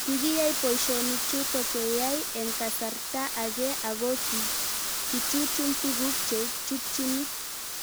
Kikiyai poishonik chutok keyai eng' kasarta ag'e ako kichuchuch tuguk che chutchini